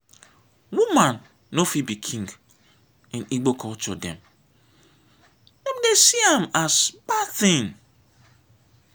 woman no fit be king in igbo culture dem dey see am as bad thing.